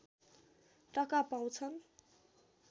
टका पाउँछन्